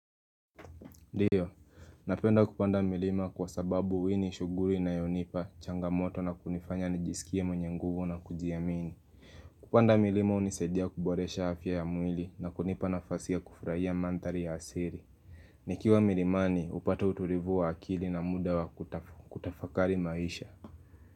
Ndiyo, napenda kupanda milima kwa sababu hii ni shuguri ina yonipa changamoto na kunifanya nijisikie mwenye nguvu na kujiamini. Kupanda milima unisaidia kuboresha hafya ya mwili na kunipa na fasi ya kufraia mandhari ya asiri. Nikiwa milimani, upata uturivu wa akili na muda wa kutafakari maisha.